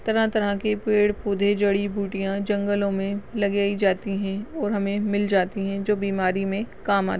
इस चित्र में एक जंगलं का दृश्य दिखाई गया है जहाँ एक व्यक्ती एक छोटासा फुल हाथ में लेकरं दिखा राहा है तरह तरह तरह के पेड जडीबुटीया जंगलॉमें लागए जाती है और हमें मिल जाती है और बिमारी में काम आती।